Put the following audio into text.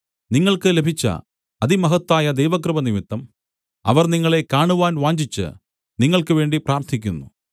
നിങ്ങൾക്ക് ലഭിച്ച അതിമഹത്തായ ദൈവകൃപനിമിത്തം അവർ നിങ്ങളെ കാണുവാൻ വാഞ്ഛിച്ച് നിങ്ങൾക്കുവേണ്ടി പ്രാർത്ഥിക്കുന്നു